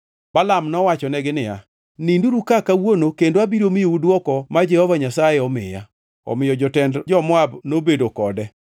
Balaam nowachonegi niya, “Ninduru ka kawuono kendo abiro miyou dwoko ma Jehova Nyasaye omiya.” Omiyo jotend jo-Moab nobedo kode.